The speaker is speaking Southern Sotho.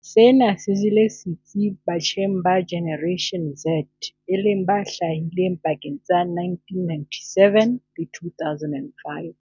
Sena se jele setsi batjheng ba Generation Z e leng ba hlahileng pakeng tsa 1997 le 2005.